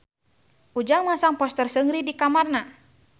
Ujang masang poster Seungri di kamarna